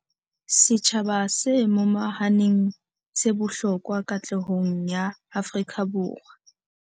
Setjhaba se momahaneng se bohlokwa katlehong ya Afrika Borwa.